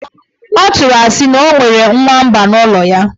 Ọ tụrụ asị na o nwere nwamba n' ụlọ ya.